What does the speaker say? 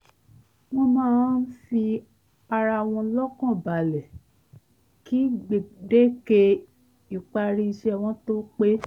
wọ́n máa ń fi ara wọn lọ́kàn balẹ̀ kí gbèdéke ìparí iṣẹ́ wọn tó pé